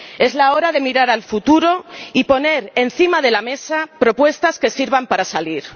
Es la hora de mirar al futuro y poner encima de la mesa propuestas que sirvan para salir.